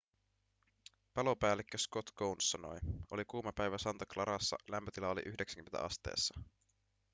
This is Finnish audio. palopäällikkö scott kouns sanoi oli kuuma päivä santa clarassa lämpötila oli 90 asteessa